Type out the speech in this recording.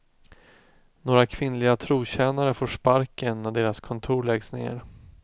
Några kvinnliga trotjänare får sparken när deras kontor läggs ned.